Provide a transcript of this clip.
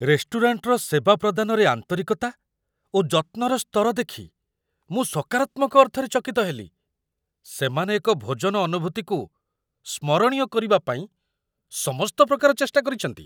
ରେଷ୍ଟୁରାଣ୍ଟର ସେବା ପ୍ରଦାନରେ ଆନ୍ତରିକତା ଓ ଯତ୍ନର ସ୍ତର ଦେଖି ମୁଁ ସକାରାତ୍ମକ ଅର୍ଥରେ ଚକିତ ହେଲି, ସେମାନେ ଏକ ଭୋଜନ ଅନୁଭୂତିକୁ ସ୍ମରଣୀୟ କରିବା ପାଇଁ ସମସ୍ତ ପ୍ରକାର ଚେଷ୍ଟା କରିଛନ୍ତି।